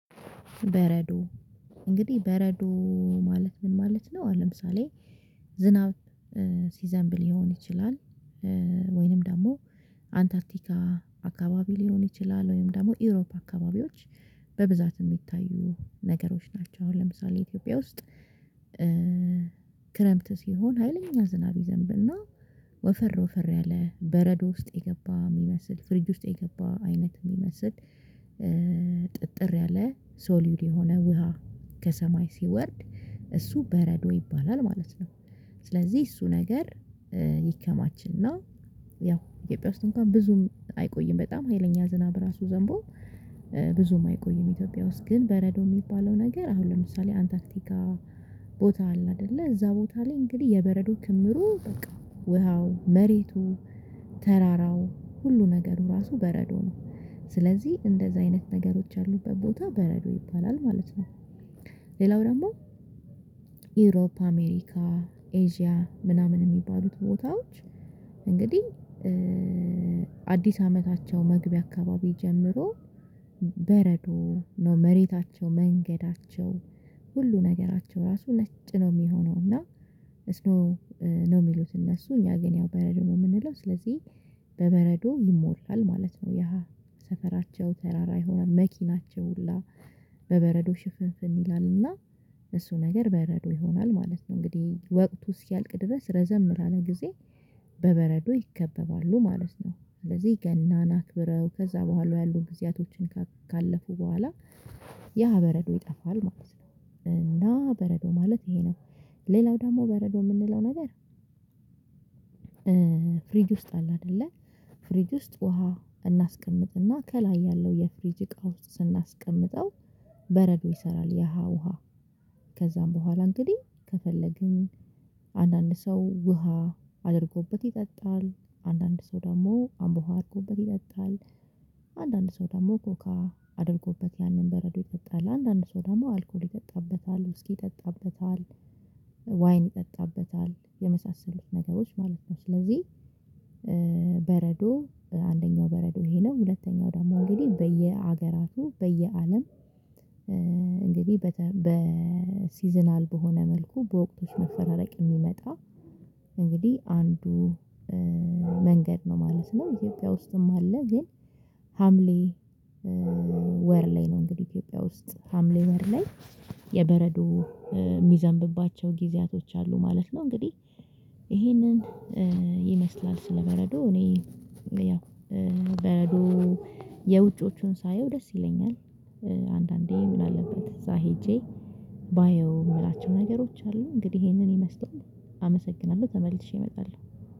በረዶ እንግዲህ በረዶ ማለት ምን ማለት ነው? ለምሳሌ ዝናብ ሲዘንብል ሊሆን ይችላል ወይንም ደግሞ አንታርቲካ አካባቢ ሊሆን ይችላል ወይንም ደግሞ ኢሮፕ አካባቢዎች በብዛት የሚታዩ ነገሮች ናቸው አሁን ለምሳሌ ኢትዮጵያ ውስጥ ክረምት ሲሆን ሀይለኛ ዝናብ ይዘንብና ወፈር ወፈር ያለ በረዶ ውስጥ የገባ የሚመስል ፍሪጅ ውስጥ የገባ አይነት የሚመስል ጥጥር ያለ ሶልዩድ የሆነ ውሃ ከሰማይ ሲወርድ እሱ በረዶ ይባላል ማለት ነው። ስለዚህ እሱ ነገር ይከማችና ያው ኢትዮጵያ ውስጥ እንኳን ብዙም አይቆይም በጣም ሀይለኛ ዝናብ ራሱ ዘንቦ ብዙም አይቆይም ኢትዮጵያ ውስጥ ግን በረዶ የሚባለው ነገር አሁን ለምሳሌ አንታክቲካ ቦታ አለ አይደለ እዛ ቦታ ላይ እንግዲህ የበረዶ ክምሩ በቃ ውሃው መሬቱ ተራራው ሁሉ ነገሩ ራሱ በረዶ ነው ስለዚህ እንደዛ አይነት ነገሮች ያሉበት ቦታ በረዶ ይባላል ማለት ነው። ሌላው ደግሞ ኢሮፕ አሜሪካ ኤዥያ ምናምን የሚባሉት ቦታዎች እንግዲህ አዲስ ዓመታቸው መግቢያ አካባቢ ጀምሮ በረዶ ነው መሬታቸው መንገዳቸው ሁሉ ነገራቸው ራሱ ነጭ ነው የሚሆነው እና። ስኖው ነው የሚሉት እነሱ እኛ ግን ያው በረዶ ነው የምንለው ስለዚህ በበረዶ ይሞላል ማለት ነው። ያ ሰፈራቸው ተራራ ይሆናል መኪናቸው ሁላ በበረዶ ሽፍፍል ይላል ና እሱ ነገር በረዶ ይሆናል ማለት ነው። እንግዲህ ወቅቱ እስኪያልቅ ድረስ ረዘም ላለ ጊዜ በበረዶ ይከበባሉ ማለት ነው። ስለዚህ ገናን አክብረው ከዛ በኋላው ያሉ ጊዜያቶችን ካለፉ በኋላ ያ በረዶ ይጠፋል ማለት ነው። እና በረዶ ማለት ይሄ ነው። ሌላው ደግሞ በረዶ የምንለው ነገር። ፍሪጅ ውስጥ አለ አይደለ ፍሪጅ ውስጥ ውሃ እናስቀምጥና ከላይ ያለው የፍሪጅ እቃ ውስጥ ስናስቀምጠው በረዶ ይሰራል። ያ ውሃ ከዛም በኋላ እንግዲህ ከፈለግን አንዳንድ ሰው ውሃ አድርጎበት ይጠጣል አንዳንድ ሰው ደግሞ አምቦ ውሃ አድርጎበት ይጠጣል። አንዳንድ ሰው ደግሞ ኮካ አድርጎበት ያንን በረዶ ይጠጣል አንዳንድ ሰው ደግሞ አልኮል ይጠጣበታል ውስኪ ይጠጣበታል ዋይን ይጠጣበታል የመሳሰሉት ነገሮች ማለት ነው። ስለዚህ በረዶ አንደኛው በረዶ ይሄ ነው ሁለተኛው ደሞ እንግዲህ በየሀገራቱ በየአለም እንግዲህ በሲዝናል በሆነ መልኩ በወቅቶች መፈራረቅ የሚመጣ እንግዲህ አንዱ መንገድ ነው ማለት ነው። ኢትዮጵያ ውስጥም አለ ግን ሀምሌ ወር ላይ ነው እንግዲህ ኢትዮጵያ ውስጥ ሀምሌ ወር ላይ የበረዶ የሚዘንብባቸው ጊዜያቶች አሉ ማለት ነው። እንግዲህ ይሄንን ይመስላል ስለበረዶ እኔ በረዶ የውጮቹን ሳየው ደስ ይለኛል። አንዳንዴ ምን አለበት እዛ ሄጄ ባየው የምላቸው ነገሮች አሉ። እንግዲህ ይሄንን ይመስገን አመሰግናለሁ ተመልሼ እመጣለሁ።